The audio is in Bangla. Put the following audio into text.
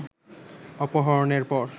অপহরণের পর